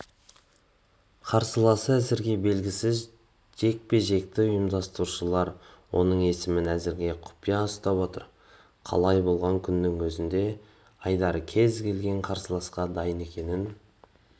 қарсыласы әзірге белгісіз жекпе-жекті ұйымдастырушылар оның есімін әзірге құпия ұстап отыр қалай болған күннің өзінде айдар кез келген қарсыласқа дайын екенін